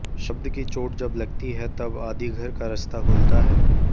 शब्द की चोट जब लगती है तब आदिघर का रास्ता खुलता है